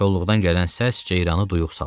Kolluqdan gələn səs ceyranı duyuq saldı.